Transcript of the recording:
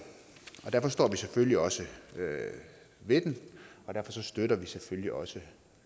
og derfor står vi selvfølgelig også ved den og derfor støtter vi selvfølgelig også